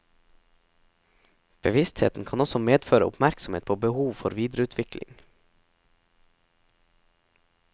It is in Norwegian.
Bevisstheten kan også medføre oppmerksomhet på behov for videreutvikling.